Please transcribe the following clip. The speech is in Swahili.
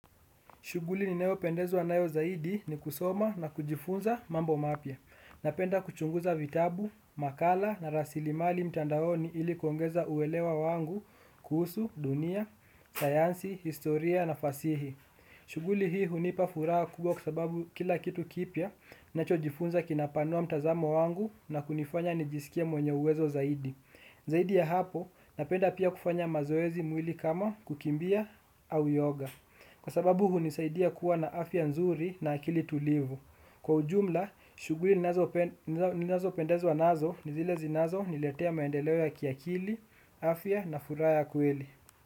Shuguli ninayopendezwa nayo zaidi ni kusoma na kujifunza mambo mapya. Napenda kuchunguza vitabu, makala na rasili mali mtandaoni ili kuongeza uwelewa wangu kuhusu, dunia, sayansi, historia na fasihi. Shuguli hii hunipa furaha kubwa kwa sababu kila kitu kipya nachojifunza kinapanua mtazamo wangu na kunifanya nijisikie mwenye uwezo zaidi. Zaidi ya hapo napenda pia kufanya mazoezi mwili kama kukimbia au yoga. Kwa sababu hunisaidia kuwa na afya nzuri na akili tulivu. Kwa ujumla, shuguli ninazo pendezwa nazo ni zile zinazo niletea maendeleo ya kiakili, afia na furaha kweli.